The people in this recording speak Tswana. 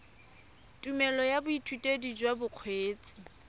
tumelelo ya boithutedi jwa bokgweetsi